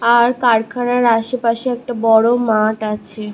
আর কারখানার আশেপাশে একটা বড়ো মাঠ আছে ।